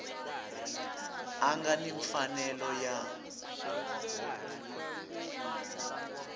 a nga ni mfanelo ya